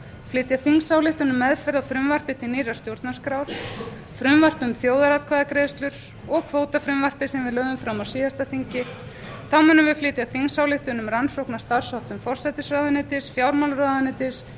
flytja þingsályktun um meðferð á frumvarpi til nýrrar stjórnarskrár frumvarp um þjóðaratkvæðagreiðslur og kvótafrumvarpið sem við lögðum fram á síðasta þingi þá munum við flytja þingsályktun um rannsókn á starfsháttum forsætisráðuneytis fjármálaráðuneytis